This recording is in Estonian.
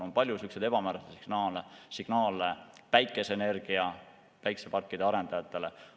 On palju selliseid ebamääraseid signaale päikseparkide arendajatele.